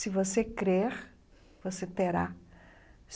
Se você crer, você terá.